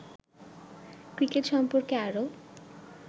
cricket সম্পর্ক আরো